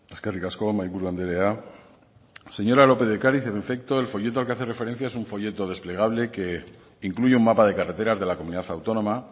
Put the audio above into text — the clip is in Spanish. eskerrik asko mahaiburu andrea señora lópez de ocariz en efecto el folleto al que hace referencia es un folleto desplegable que incluye un mapa de carreteras de la comunidad autónoma